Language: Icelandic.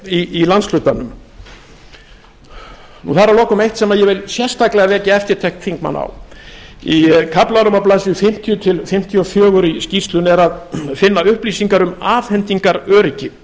í landshlutanum það er að lokum eitt sem ég vil sérstaklega vekja eftirtekt þingmanna á í kaflanum á blaðsíðu fimmtíu til fimmtíu og fjögur í skýrslunni er finna upplýsingar um afhendingaröryggið